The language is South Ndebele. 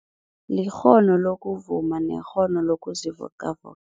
Likghono lokuvuma nekghono lokuzivocavoca.